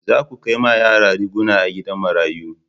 Za ku kai ma yara riguna a gidan marayu